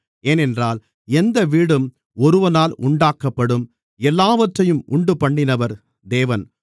ஏனென்றால் எந்த வீடும் ஒருவனால் உண்டாக்கப்படும் எல்லாவற்றையும் உண்டுபண்ணினவர் தேவன்